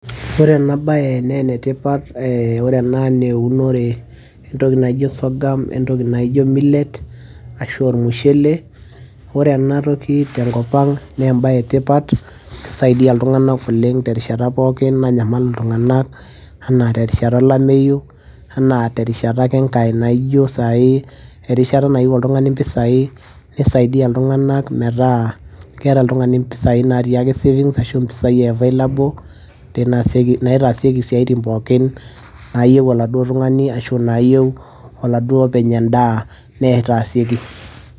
ore ena baya naa enetipat eh, ore ena naa eunore entoki naijo sorghum entoki naijo millet ashu ormushele ore enatoki tenkop ang naa embaye etipat kisaidia iltung'anak oleng terishata pookin nanyamal iltung'anak anaa terishata olameyu anaa terishata ake enkae naijo sai erishata nayieu oltung'ani impisai nisaidia iltung'anak metaa keeta oltung'ani impisai natii ake savings ashu mpisai e available naitesieki isiaitin pookin nayieu oladuo tung'ani ashu nayieu oladuo openy endaa neeta sieki.